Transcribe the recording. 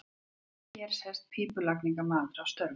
Hér sést pípulagningamaður að störfum.